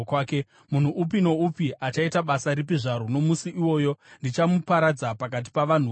Munhu upi noupi achaita basa ripi zvaro, nomusi iwoyo, ndichamuparadza pakati pavanhu vokwake.